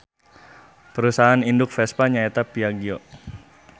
Parusahaan induk Vespa nya eta Piaggio.